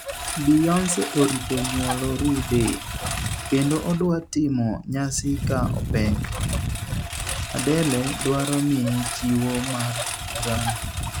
Beyonce orito nywolo rude, kendo odwa timo nyasi ka opek, Adele dwaro miye chiwo mar GRAMMY